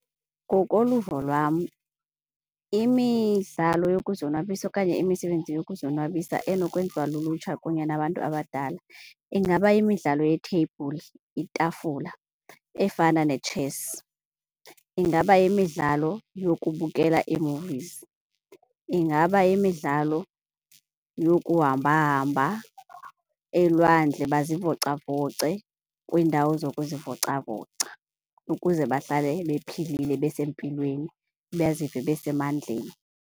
Ngokoluvo lwam imidlalo yokuzonwabisa okanye imisebenzi yokuzonwabisa enokwenziwa lulutsha kunye nabantu abadala ingaba yimidlalo yetheyibhuli, itafula efana netshesi. Ingaba yimidlalo yokubukela ii-movies. Ingaba yimidlalo yokuhamba hamba elwandle bazivocavoce kwiindawo zokuzivocavoca ukuze bahlale bephilile, besempilweni bazive basemandleni.